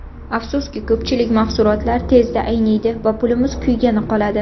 Afsuski, ko‘pchilik mahsulotlar tezda ayniydi va pulimiz kuygani qoladi.